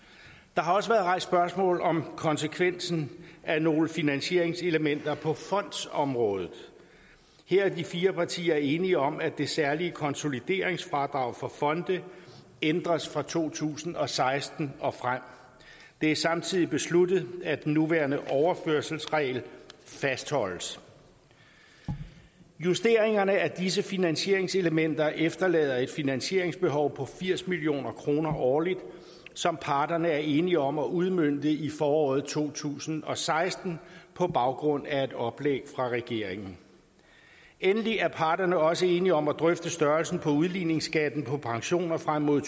der har også været rejst spørgsmål om konsekvensen af nogle finansieringselementer på fondsområdet her er de fire partier enige om at det særlige konsolideringsfradrag for fonde ændres fra to tusind og seksten og frem det er samtidig besluttet at den nuværende overførselsregel fastholdes justeringerne af disse finansieringselementer efterlader et finansieringsbehov på firs million kroner årligt som parterne er enige om at udmønte i foråret to tusind og seksten på baggrund af et oplæg fra regeringen endelig er parterne også enige om at drøfte størrelsen på udligningsskatten på pensioner frem mod